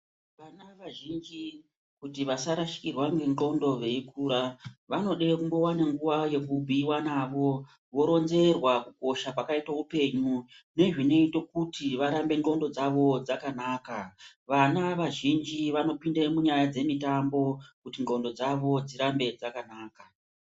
vana vazhinji kuti vasarasikirwa nendxondo veikura vanode kumbovane nguva yekubhuiva navo. Voronzerwa kukosha kwakaita upenyu nezvinoite kuti varambe ndxondo dzavo dzakanaka. Vana vazhinji vanopinde munyaya dzemitambo kuti ndxondo dzavo dzirambe dzakanaka.